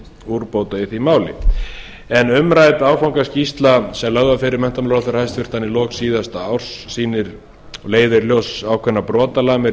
úrbóta umrædd áfangaskýrsla sem lögð var fyrir hæstvirtan menntamálaráðherra í lok síðasta árs leiðir í ljós ákveðnar brotalamir